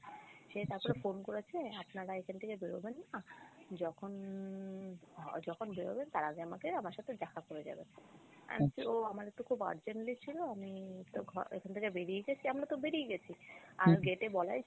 সে তারপরে phone করেছে আপনারা এখান থেকে বেরুবেন না যখন যখন বের হবেন তার আগে আমাকে আমার সাথে দেখা করে যাবেন আমার তো খুব urgently ছিল আমি তো এখান থেকে বেরিয়ে গেছি আমরা তো বেরিয়ে গেছি আর gate এ বলাই